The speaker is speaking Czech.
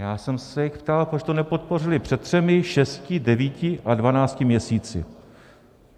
Já jsem se jich ptal, proč to nepodpořili před třemi, šesti, devíti a dvanácti měsíci.